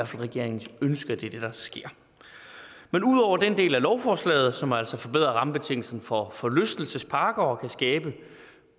fald regeringens ønske at det er det der sker men ud over den del af lovforslaget som altså forbedrer rammebetingelserne for forlystelsesparker og kan skabe